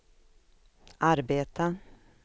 arbeta